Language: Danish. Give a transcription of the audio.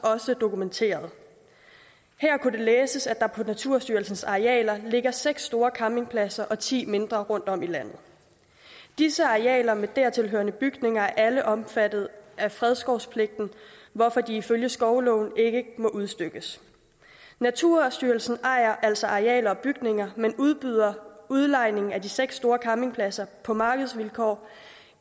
også dokumenterede her kunne det læses at der på naturstyrelsens arealer ligger seks store campingpladser og ti mindre rundtom i landet disse arealer med dertil hørende bygninger er alle omfattet af fredskovspligten hvorfor de ifølge skovloven ikke må udstykkes naturstyrelsen ejer altså arealer og bygninger men udbyder udlejning af de seks store campingpladser på markedsvilkår